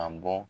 A bɔ